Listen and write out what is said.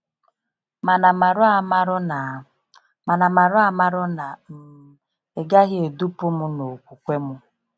Mana marụamarụ na Mana marụamarụ na um ịgahị edupu mụ na okwukwe mụ.